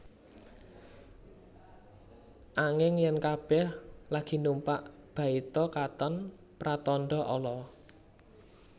Anging yèn kabèh lagi numpak baita katon pratandha ala